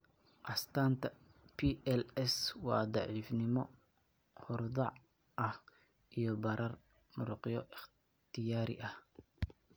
Astaanta PLS waa daciifnimo horudhac ah iyo barar muruqyo ikhtiyaari ah.